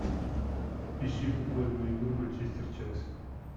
ищи футбольную игру манчестер челси